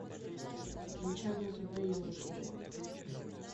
включай на тв еврокино